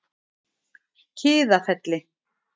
Kiðafelli